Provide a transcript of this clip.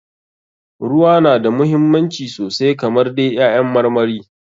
Ruwa na da muhimmanci sosai kamar dai ƴaƴan marmari.